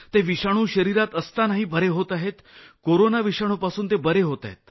ते विषाणु शरिरात असतानाही बरे होत आहेत कोरोना विषाणुपासून ते बरे होत आहेत